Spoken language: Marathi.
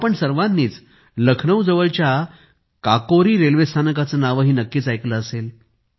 आपण सगळ्यांनी लखनौ जवळच्या काकोरी रेल्वे स्थानकाचे नावही नक्कीच ऐकले असेल